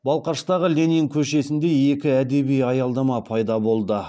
балқаштағы ленин көшесінде екі әдеби аялдама пайда болды